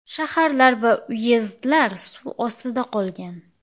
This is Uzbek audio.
Shaharlar va uyezdlar suv ostida qolgan.